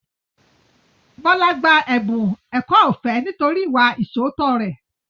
Bọlá gba ẹ̀bùn ẹ̀kọ́ ọ̀fẹ́ nítorí ìwà ìṣóòótọ́ rẹ̀